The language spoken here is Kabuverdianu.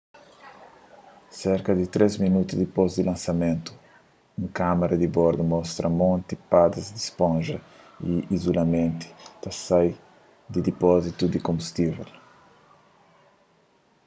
serka di 3 minotu dipôs di lansamentu un kâmara di bordu mostra monti padas di sponja di izulamentu ta sai di dipózitu di konbustível